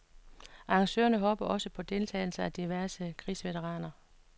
Arrangørerne håber også på deltagelse af diverse krigsveteraner.